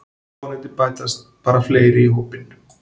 Vonandi bætast bara fleiri í hópinn